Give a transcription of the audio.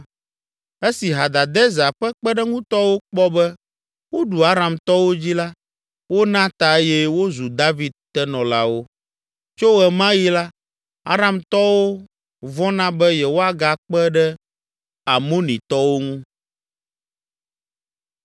Esi Hadadezer ƒe kpeɖeŋutɔwo kpɔ be woɖu Aramtɔwo dzi la wona ta eye wozu David tenɔlawo. Tso ɣe ma ɣi la, Aramtɔwo vɔ̃na be yewoagakpe ɖe Amonitɔwo ŋu.